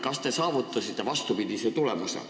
Kas te olete saavutanud vastupidist tulemust?